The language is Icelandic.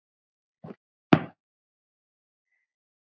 Að skilja eigið líf.